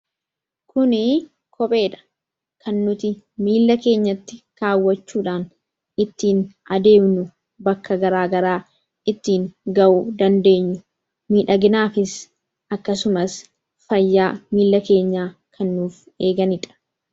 Kunii kopheedha, kan nuti miillaa keenyatti kaawwachuudhan ittiin adeemnu, bakka garagaraa ittiin ga'uu dandeenyu, miidhaginaafis akkasumas, faytaa miilla keenya kan nuuf eeganidha.